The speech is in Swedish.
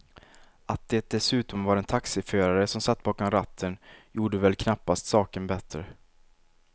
Att det dessutom var en taxiförare som satt bakom ratten gjorde väl knappast saken bättre.